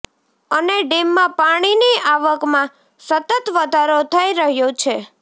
અને ડેમમાં પાણીની આવકમાં સતત વધારો થઇ રહ્યો છે